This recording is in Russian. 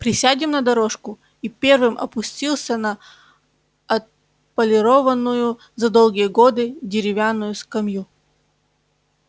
присядем на дорожку и первым опустился на отполированную за долгие годы деревянную скамью